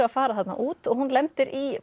að fara þarna út og hún lendir í